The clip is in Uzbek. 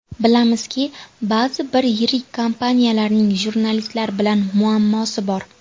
Bilamizki, ba’zi bir yirik kompaniyalarning jurnalistlar bilan muammosi bor.